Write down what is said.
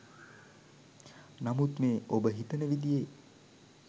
නමුත් මේ ඔබ හිතන විදියේ